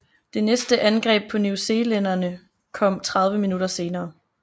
Det næste angreb på newzealænderne kom 30 minutter senere